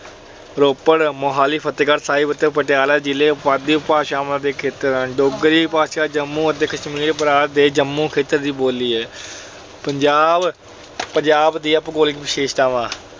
ਰੋਪੜ, ਮੁਹਾਲੀ, ਫਤਿਹਗੜ੍ਹ ਸਾਹਿਬ ਅਤੇ ਪਟਿਆਲਾ ਜ਼ਿਲ੍ਹੇ ਪੁਆਧੀ ਉਪਭਾਸ਼ਾ ਦੇ ਖੇਤਰ ਹਨ। ਡੋਗਰੀ ਭਾਸ਼ਾ ਜੰਮੂ ਅਤੇ ਕਸ਼ਮੀਰ ਪ੍ਰਾਂਤ ਦੇ ਜੰਮੂ ਖੇਤਰ ਦੀ ਬੋਲੀ ਹੈ। ਪੰਜਾਬ ਅਹ ਪੰਜਾਬ ਦੀਆਂ ਭੂਗੋਲਿਕ ਵਿਸ਼ੇਸ਼ਤਾਵਾਂ